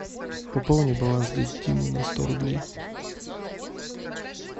пополни баланс дяди димы на сто рублей